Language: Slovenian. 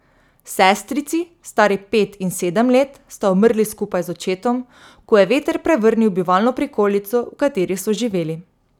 Sestrici, stari pet in sedem let, sta umrli skupaj z očetom, ko je veter prevrnil bivalno prikolico, v kateri so živeli.